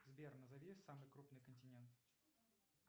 сбер назови самый крупный континент